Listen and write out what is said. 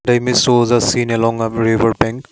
the image shows the scene along uh river bank.